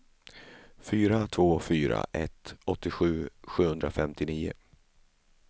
fyra två fyra ett åttiosju sjuhundrafemtionio